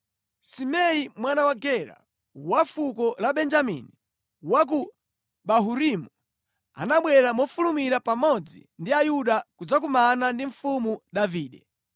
Simei mwana wa Gera, wa fuko la Benjamini wa ku Bahurimu, anabwera mofulumira pamodzi ndi Ayuda kudzakumana ndi mfumu Davide.